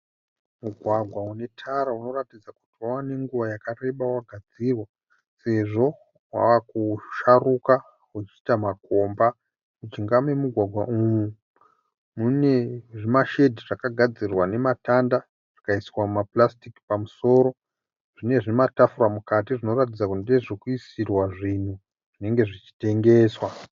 Mugwagwa une tara unoratidza kuti wava nenguva yakareba wagadzirwa sezvo wakusharuka uchiita makomba. Mujinga memugwagwa umu mune zvimashedhi zvakagadzirwa nematanda zvikaiswa mapurasitiki pamusoro. Zvine zvimatafura mukati zvinoratidza kuti ndezvekuisirwa zvinhu zvinenge zvichitengeswa.